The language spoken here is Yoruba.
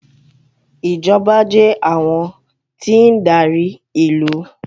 Ìjọba jẹ́ àwọn tí ń darí ìlú.